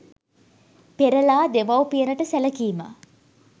පෙරලා දෙමවුපියනට සැලකීම